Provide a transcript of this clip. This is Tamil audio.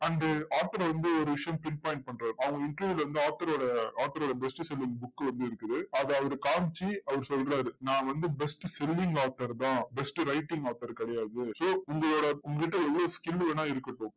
and author வந்து ஒரு விஷயம் pin point பண்றாரு. அவர் interview ல வந்து author ரோட author ரோட best selling book வந்து இருக்குது. அதை அவர் காமிச்சு அவர் சொல்றாரு. நான் வந்து best selling author தான். best writing author கிடையாது so உங்களோட உங்க கிட்ட எவ்வளவு skill வேணா இருக்கட்டும்.